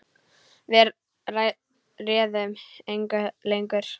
Við réðum engu lengur.